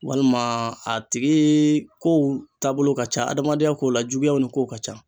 Walima a tigi kow taabolo ka ca, adamadenya ko la juguyaw ni kow ka ca